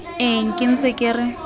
eng ke ntse ke re